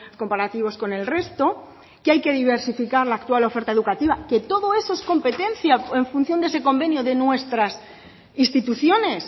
comparativos con el resto que hay que diversificar la actual oferta educativa que todo eso es competencia en función de ese convenio de nuestras instituciones